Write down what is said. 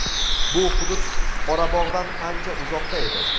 bu hudud Qorabog‘dan ancha uzoqda edi.